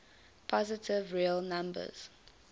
positive real number